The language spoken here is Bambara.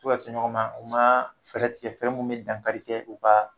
U to ka se ɲɔgɔn ma u ma fɛɛrɛ tigɛ fɛn min bɛ dankari kɛ u ka